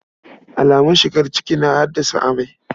Alamun shigar ciki na haddasa amai.